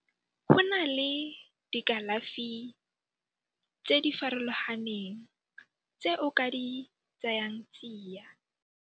Go na le dikalafi tse di farologaneng tse o ka di tsayang tsia.